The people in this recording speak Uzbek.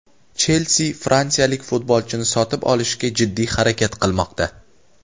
"Chelsi" fransiyalik futbolchini sotib olishga jiddiy harakat qilmoqda.